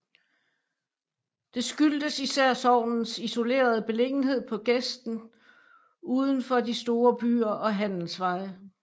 Det skyldtes især sognets isolerede beliggenhed på gesten uden for de store byer og handelsveje